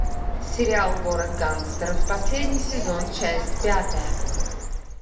сериал город гангстеров последний сезон часть пятая